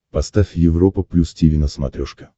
поставь европа плюс тиви на смотрешке